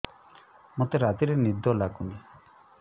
ମୋତେ ରାତିରେ ନିଦ ଲାଗୁନି